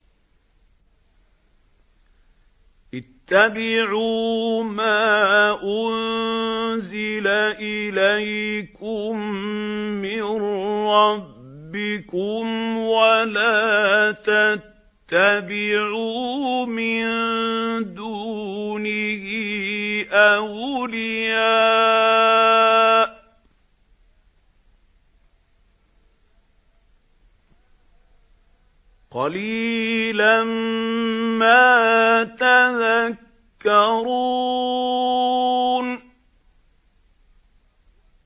اتَّبِعُوا مَا أُنزِلَ إِلَيْكُم مِّن رَّبِّكُمْ وَلَا تَتَّبِعُوا مِن دُونِهِ أَوْلِيَاءَ ۗ قَلِيلًا مَّا تَذَكَّرُونَ